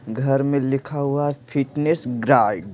घर में लिखा हुआ है फिटनेस गार्ड --